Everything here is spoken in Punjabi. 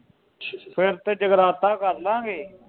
ਫਿਰ ਤੇ ਜਗਰਾਤਾ ਕਰਲਾਗੇ।